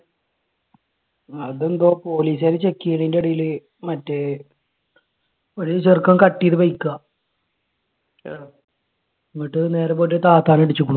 അതെന്തോ police car check ചെയ്യുന്നതിന്റെ ഇടയിൽ മറ്റേ ഒരു ചെറുക്കൻ cut ചെയ്ത bike ആ. എന്നിട്ട് നേരെ പോയിട്ട് താത്താനെ ഇടിച്ചേക്കണു.